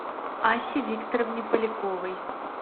асе викторовне поляковой